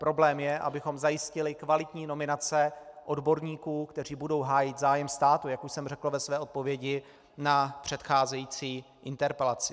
Problém je, abychom zajistili kvalitní nominace odborníků, kteří budou hájit zájem státu, jak už jsem řekl ve své odpovědi na předcházející interpelaci.